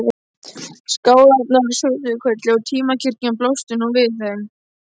Skálarnir á Sauðafelli og timburkirkjan blöstu nú við þeim.